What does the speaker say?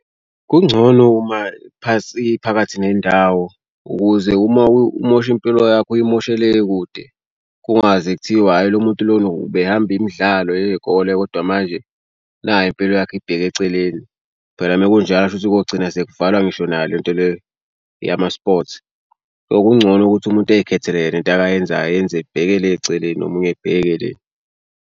Kungcono uma phansi phakathi nendawo ukuze uma umoshe impilo yakho uyimoshe le kude. Kungaze kuthiwe hhayi lo muntu lona ubehamba imidlalo yey'kole kodwa manje nayi impilo yakho ibheke eceleni. Phela uma kunjalo kushukuthi kogcina sekuvalwa ngisho nayo le nto le yama-sport. Okungcono ukuthi umuntu eyikhethele yena into akayenzayo eyenze ebheke le eceleni nomunye ebheke le.